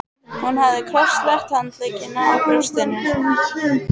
Hún hafði krosslagt handleggina á brjóstinu.